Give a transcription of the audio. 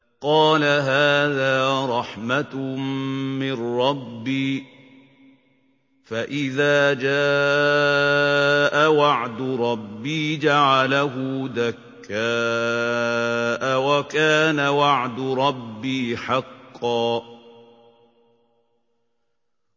قَالَ هَٰذَا رَحْمَةٌ مِّن رَّبِّي ۖ فَإِذَا جَاءَ وَعْدُ رَبِّي جَعَلَهُ دَكَّاءَ ۖ وَكَانَ وَعْدُ رَبِّي حَقًّا